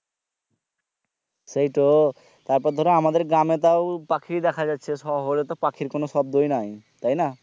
সেইতো তারপর ধরো আমাদের গ্রামে তাও পাখি দেখা যাচ্ছে শহরে তো পাখির কোনো শব্দ ই নাই তাইনা